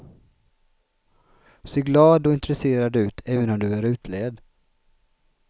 Se glad och intresserad ut även om du är utled.